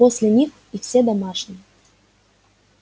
после них и все домашние